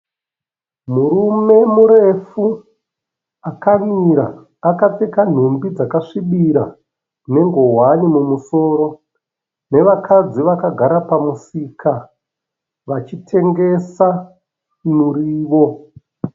Murume murefu akamira akapfeka nhumbi dzakasvibira nenguwani mumusoro nevakadzi vakagara pamusika vachitengesa muriwo.